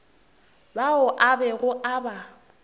bao a bego a ba